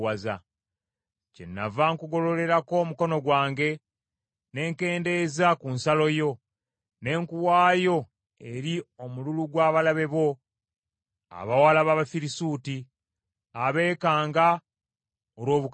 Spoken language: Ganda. Kyenava nkugololerako omukono gwange ne nkendeeza ku nsalo yo, ne nkuwaayo eri omululu gw’abalabe bo abawala b’Abafirisuuti, abeekanga olw’obukaba bwo.